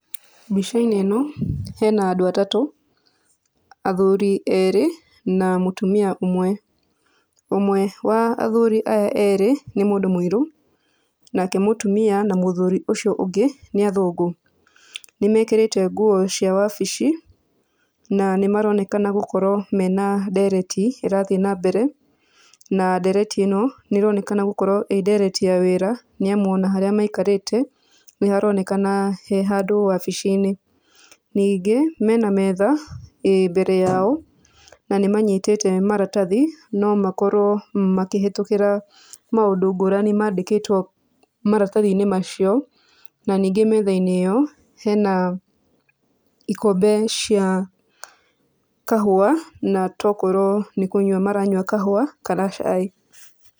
Mbica-inĩ ĩno hena andũ atatũ, athuri erĩ na mũtumia ũmwe. Ũmwe wa athuri aya erĩ nĩ mũndũ mũirũ nake mũtumia na mũthuri ũcio ũngĩ nĩ athũngũ, nĩmekĩrĩte nguo cia wabici na nĩmaronekana gũkorwo mena ndereti ĩrathiĩ nambere, na ndereti ĩno nĩ ĩronekana gũkorwo ĩ ndereti ya wĩra, nĩ amu ona harĩa maikarĩte nĩharonekana he handũ wabici-inĩ . Ningĩ mena metha ĩ mbere yao na nĩmanyitĩte maratathi no makorwo makĩhetũkĩra maũndũ ngũrani mandĩkĩtwo maratathi-inĩ macio, na ningĩ metha-inĩ ĩyo hena ikombe cia kahũa, na tokorwo nĩkũnyua maranyua kahũa kana cai.